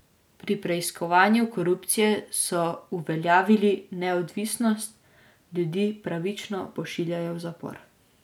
Pri preiskovanju korupcije so uveljavili neodvisnost, ljudi pravično pošiljajo v zapor.